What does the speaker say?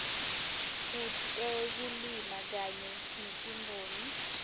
kutekulima kanye netimboni